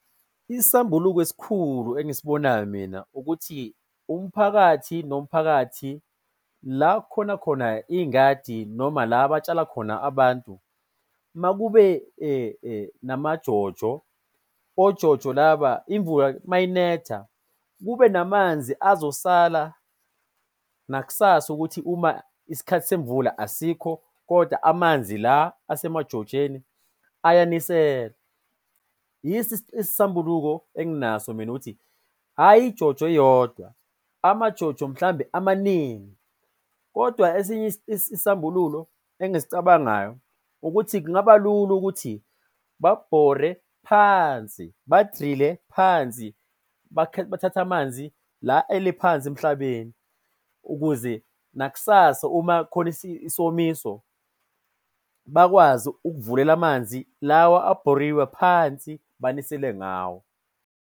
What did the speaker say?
Isisambuluko esikhulu engisibonayo mina ukuthi umphakathi nomphakathi la kukhona khona iy'ngadi noma la batshala khona abantu, makube nama-JoJo. O-JoJo laba, imvula mayinetha kube namanzi azosala nakusasa ukuthi uma isikhathi semvula asikho koda amanzi la asemajojeni ayanisela. Yiso isisambuluko enginaso mina ukuthi hhayi i-JoJo eyodwa, ama-JoJo mhlambe amaningi. Kodwa esinye isisambululo engisicabangayo ukuthi kungaba lula ukuthi babhore phansi, ba-drill-e phansi bathathe amanzi la ele phansi emhlabeni ukuze nakusasa uma kukhona isimiso bakwazi ukuvulela amanzi lawa abhoriwe phansi, banisele ngawo.